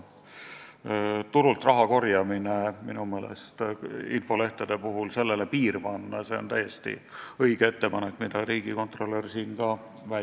Ettepanek piir ette panna ja keelata infolehtedel turult raha korjamine on täiesti õige ettepanek, nagu riigikontrolörgi arvab.